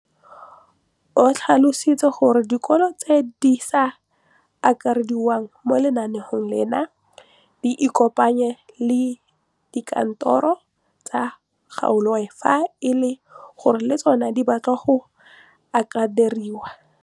O tlhalositse gore dikolo tse di sa akarediwang mo lenaaneng leno di ikopanye le dikantoro tsa kgaolo fa e le gore le tsona di batla go akarediwa.